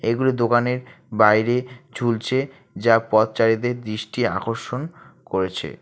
এগুলি দোকানের বাইরে ঝুলছে যা পথচারীদের দৃষ্টি আকর্ষণ করেছে।